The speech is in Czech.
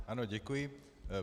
Ano, děkuji.